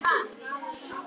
Burt með tabú